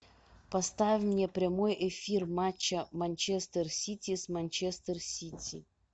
поставь мне прямой эфир матча манчестер сити с манчестер сити